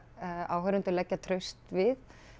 áhorfendur leggja traust við